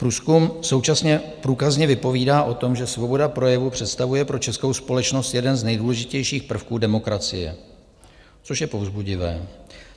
Průzkum současně průkazně vypovídá o tom, že svoboda projevu představuje pro českou společnost jeden z nejdůležitějších prvků demokracie, což je povzbudivé.